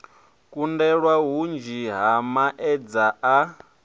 kundelwa hunzhi ha maedza a